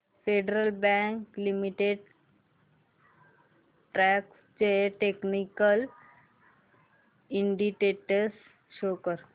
federal Bank Limited stocks चे technical indicators show कर